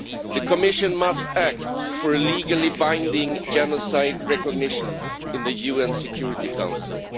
The Commission must act for a legally binding genocide recognition in the UN Security Council.